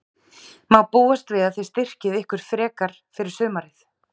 Má búast við að þið styrkið ykkur frekar fyrir sumarið?